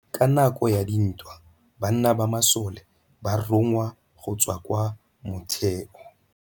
Ka nakô ya dintwa banna ba masole ba rongwa go tswa kwa mothêô.